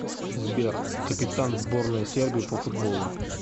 сбер капитан сборная сербии по футболу